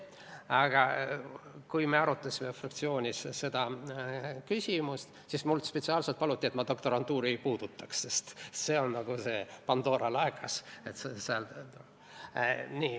Aga kui me arutasime fraktsioonis seda küsimust, siis mult spetsiaalselt paluti, et ma doktorantuuri ei puudutaks, sest see on nagu Pandora laegas.